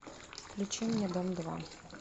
включи мне дом два